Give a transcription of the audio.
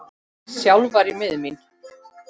Sjálf var ég miður mín.